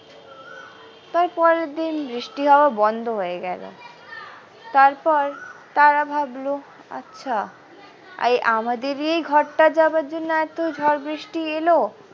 তার পরের দিন বৃষ্টি হওয়া বন্ধ হয়ে গেল তারপর তারা ভাবলো আচ্ছা আমাদেরই ঘরটা যাবার জন্য এত ঝড় বৃষ্টি এলো।